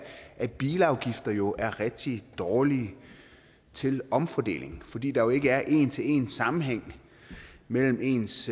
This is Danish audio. at bilafgifter jo er rigtig dårlige til omfordeling fordi der ikke er en en til en sammenhæng mellem ens